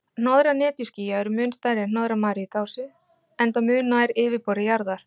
Hnoðrar netjuskýja eru mun stærri en hnoðrar maríutásu, enda mun nær yfirborði jarðar.